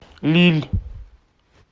лилль